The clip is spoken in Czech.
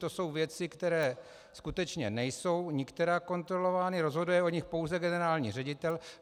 To jsou věci, které skutečně nejsou nikterak kontrolovány, rozhoduje o nich pouze generální ředitel.